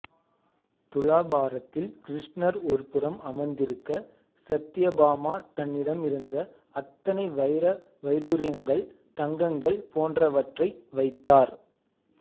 துலாபாரத்தில் கிருஷ்ணர் ஒரு புரம் அமர்ந்திருக்க சத்யபாமா தன்னிடமிருந்த அத்தனை வைர வைடூரியங்கள் தங்கங்கள் போன்றவற்றை வைத்தார்